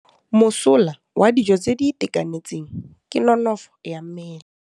Mosola wa dijô tse di itekanetseng ke nonôfô ya mmele.